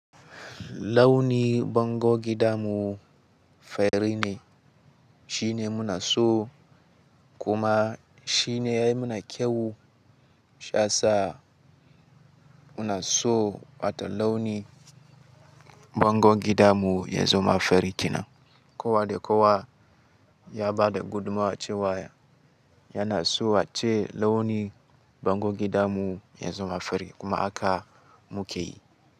Launi bangon gida mu fari ne shine muna so kuma shine yayi mana kyau. Sha sa muna so wata launi bangon gida mu ya zama fari kina. Kowa da kowa ya bada gudumuwa cewa. Yana so wacce launi bangon gida mu ya zama fari kuma haka mu ka yi.